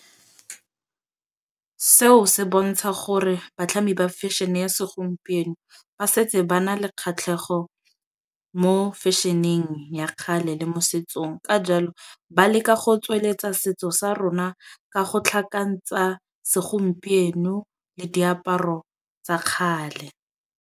Seo se bontsha gore batlhami ba fashion-e ya segompieno ba setse ba na le kgatlhego mo fashion-eng ya kgale le le mo setsong. Ka jalo ba leka go tsweletsa setso sa rona ka go tlhakantsha segompieno le diaparo tsa kgale.